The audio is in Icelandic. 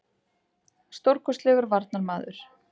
Stórkostlegur varnarmaður.